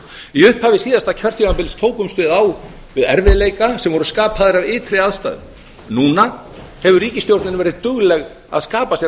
í upphafi síðasta kjörtímabils tókumst við á við erfiðleika sem voru skapaðir af ytri aðstæðum núna hefur ríkisstjórnin verið dugleg að skapa sér